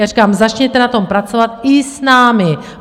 Já říkám, začněte na tom pracovat i s námi.